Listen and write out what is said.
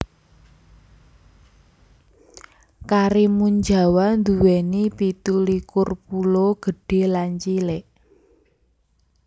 Karimunjawa nduwèni pitu likur pulo gedhé lan cilik